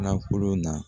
Nakɔ na